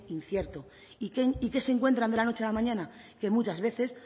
incierto y qué se encuentran de la noche a la mañana que muchas veces